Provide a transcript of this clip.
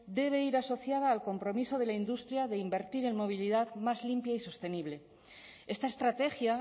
debe ir asociada al compromiso de la industria de invertir en movilidad más limpia y sostenible esta estrategia